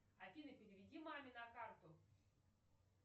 афина переведи маме на карту